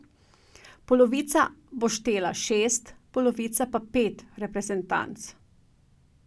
Polovica bo štela šest, polovica pa pet reprezentanc.